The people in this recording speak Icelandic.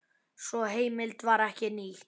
Sú heimild var ekki nýtt.